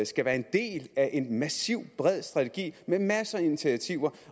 skal være en del af en massiv bred strategi med masser af initiativer